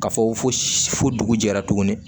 Ka fɔ ko fosi fo dugu jɛra tuguni